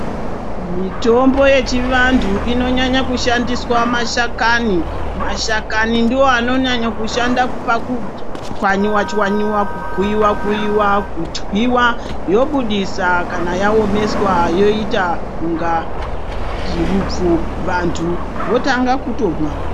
Mitombo yechivantu inonyanya kushandiswa mashakani, mashakani ndiwo anonyanya kushanda pakuchwanywa chwanywa kukuyiwa-kuyiwa kutwiwa yobudiswa kana yaomeswa yoita kunga hupfu, vantu votanga kutomwa.